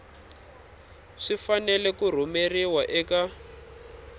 swi fanele ku rhumeriwa eka